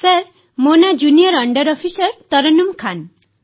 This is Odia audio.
ସାର୍ ମୋ ନାଁ junior under officer Tarannum Khan